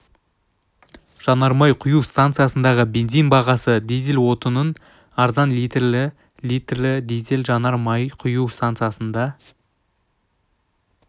жанар май құю стансасындағы бензин бағасы дизель отыныт арзан литрі-т литрі дизель жанар май құю стансасында